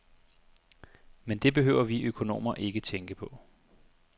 Men det behøver vi økonomer ikke tænke på.